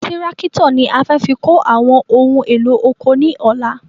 Tírákítọ̀ ni a fẹ́ fi kó àwọn ohun èlò oko ní ọ̀la